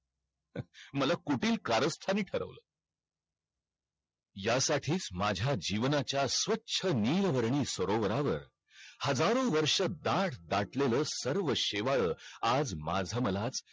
मला कुटील कारस्थानी ठरवलं या साठीच माझ्या जीवनाच्या स्वच्छ नील वर्णी सरोवरावर हजारो वर्षो दाड दाटलेल सर्व शेवाळ आज माझ मला